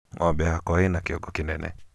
ng'ombe yakwa ĩna kĩongo kĩnene